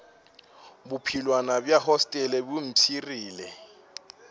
bophelwana bja hostele bo mpshirile